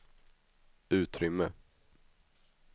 utrymme